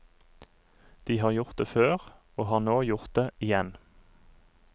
De har gjort det før, og har nå gjort det igjen.